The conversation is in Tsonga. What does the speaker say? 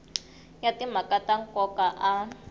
ya timhaka ta nkoka a